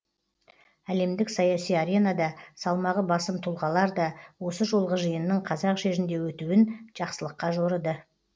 әлемдік саяси аренада салмағы басым тұлғалар да осы жолғы жиынның қазақ жерінде өтуін жақсылыққа жорыды